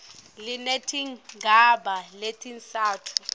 linetigaba letintsatfu a